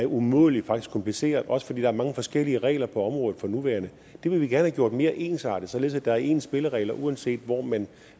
umådelig kompliceret også fordi der er mange forskellige regler på området for nuværende det vil vi gerne have gjort mere ensartet således at der er ens spilleregler uanset hvor man